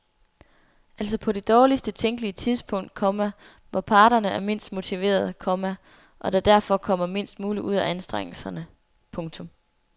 Altså på det dårligst tænkelige tidspunkt, komma hvor parterne er mindst motiverede, komma og der derfor kommer mindst muligt ud af anstrengelserne. punktum